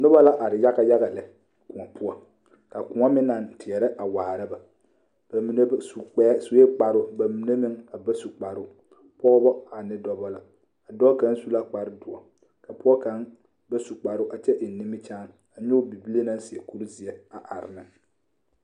Noba la are yaga yaga lɛ ka koɔ meŋ naŋ teɛrɛ waara ba ba minr ba su sue kparoo ba mine meŋ ba su kparoo pɔgeba ane dɔba la a dɔɔ kaŋ su la kparedoɔ ka pɔge kaŋ ba su kparoo kyɛ eŋ nimikyaane a nyɔge bibile naŋ seɛ kurizeɛ a are ne.